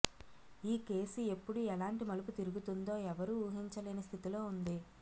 ఈ కేసు ఎప్పుడు ఎలాంటి మలుపు తిరుగుతుందో ఎవ్వరూ ఊహించలేని స్థితిలో ఉంది